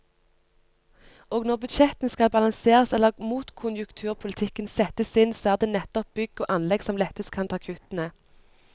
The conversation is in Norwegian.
Og når budsjettene skal balanseres eller motkonjunkturpolitikken settes inn, så er det nettopp bygg og anlegg som lettest kan ta kuttene.